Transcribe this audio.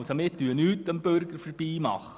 Wir hintergehen den Bürger also nicht.